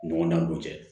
Ɲɔgɔndanw cɛ